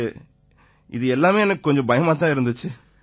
இது எல்லாமே கொஞ்சம் பயமாத் தான் இருந்திச்சு